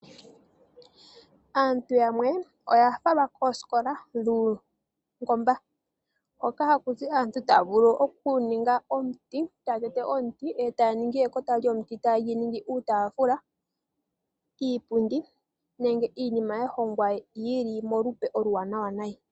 Aantu yamwe oya falwa koosikola dhuungomba hoka haku zi aantu taya vulu okuninga omuti, ta tete omuti e ta ningi ekota lyomuti taye lyi ningi uutafula, iipundi nenge iinima ya hongwa yili molupe oluwanawa nayi.